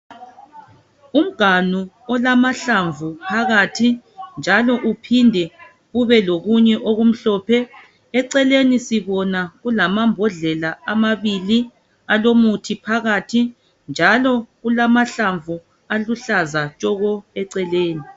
Umganu olamahlamvu phakathi njalo uphinde kube lokunye okumhlophe ,eceleni sibona kulamambhodlela amabili alomuthi phakathi njalo kulamahlamvu aluhlaza tshoko eceleni.